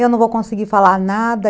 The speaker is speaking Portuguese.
Eu não vou conseguir falar nada.